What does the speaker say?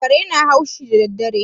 Kare na haushi daddare.